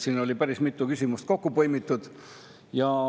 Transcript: Siin oli päris mitu küsimust kokku põimitud.